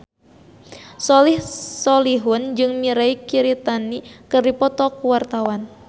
Soleh Solihun jeung Mirei Kiritani keur dipoto ku wartawan